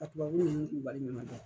A tubabu nunnu kun ɲanabɔ.